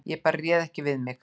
Ég bara réð ekki við mig